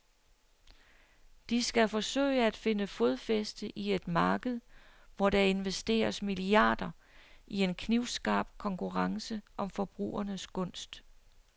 De skal forsøge at finde fodfæste i et marked, hvor der investeres milliarder i en knivskarp konkurrence om forbrugernes gunst.